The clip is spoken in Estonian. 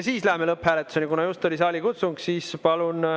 Läheme lõpphääletuse juurde, kuna just oli saalikutsung.